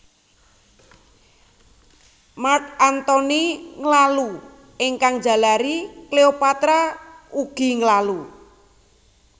Mark Antony nglalu ingkang njalari Cleopatra ugi nglalu